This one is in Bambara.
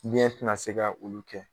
Ɲɛ te na se ka olu kɛ